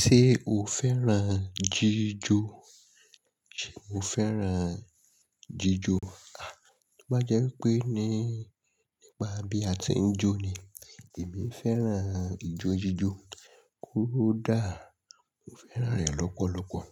Ṣé o fẹ́ràn jíjó? Mo fẹ́ràn jíjó. À, tó bá jẹ́ wípé ní nípa bí a ti ń jó ni, èmi fẹ́ràn ijó jíjó ko dàá. Mo fẹ́ràn rẹ̀ lọ́pọ̀lọ́pọ̀.